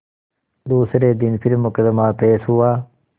दूसरे दिन फिर मुकदमा पेश हुआ